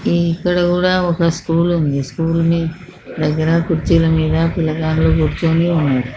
ఇక్కడ కూడా ఒక స్కూల్ ఉంది. ఈ స్కూల్ ని దగ్గర కుర్చీల మీద పిల్లలందరు కూర్చోని ఉన్నారు.